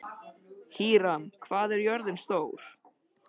Híram, hvað er jörðin stór?